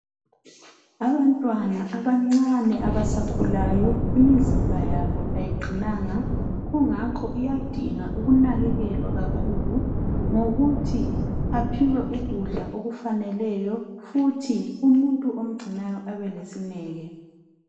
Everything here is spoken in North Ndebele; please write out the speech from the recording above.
Abantwana abancane abasakhulayo imizimba yabo ayiqinanga kungakho iyadinga ukunakekelwa kakhulu ngokuthi baphiwe ukudla okufaneleyo futhi umuntu omgcinayo abe lesineke.